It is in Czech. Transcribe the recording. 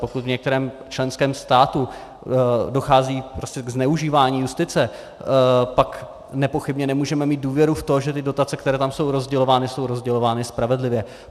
Pokud v některém členském státě dochází prostě k zneužívání justice, pak nepochybně nemůžeme mít důvěru v to, že ty dotace, které tam jsou rozdělovány, jsou rozdělovány spravedlivě.